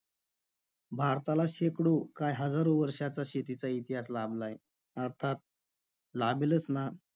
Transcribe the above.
भारताला शेकडो काय हजारो वर्षाचा शेतीचा इतिहास लाभलाय. अर्थात लाभेलच ना?